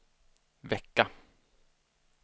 vecka